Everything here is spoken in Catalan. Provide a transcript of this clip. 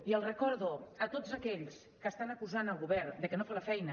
i els recordo a tots aquells que estan acusant el govern de que no fa la feina